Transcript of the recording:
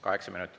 Kaheksa minutit.